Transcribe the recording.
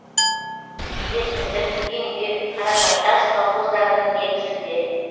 еркіндік еңбек қаражартас колхоздарының негізінде